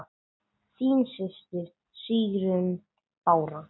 Þín systir, Sigrún Bára.